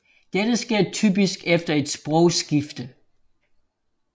Dette sker typisk efter et sprogskifte